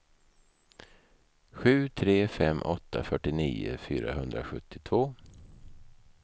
sju tre fem åtta fyrtionio fyrahundrasjuttiotvå